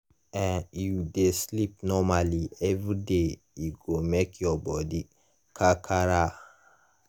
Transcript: e you dey sleep normally everyday e go make your body kakara.